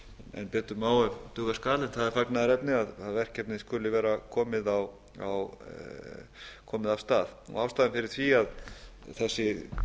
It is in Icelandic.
en betur má ef duga skal en það er fagnaðarefni að verkefnið skuli vera komið af stað ástæðan fyrir því að þessi